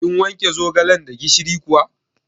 Kin wanke zogalan da gishiri kuwa?